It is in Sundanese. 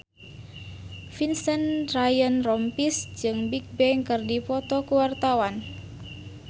Vincent Ryan Rompies jeung Bigbang keur dipoto ku wartawan